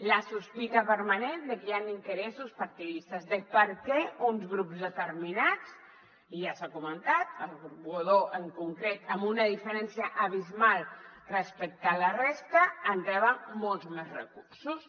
la sospita permanent de que hi han interessos partidistes de per què uns grups determinats i ja s’ha comen·tat el grup godó en concret amb una diferència abismal respecte a la resta reben molts més recursos